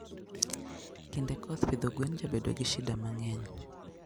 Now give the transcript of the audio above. kinde koth pidho gwen jabedo gi shida mangeny